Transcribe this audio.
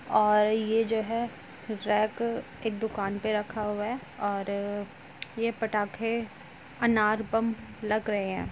और यह जो है रैक एक दुकान पे रखा हुआ है और यह पटाखे अनार बम लग रहे हैं।